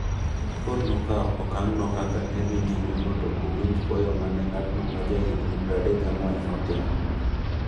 Kot nokawo okang’no kaka ne dhi nyimemondo owinj kwayo ma ne ng’atno ma ne jahigni 34 notimo.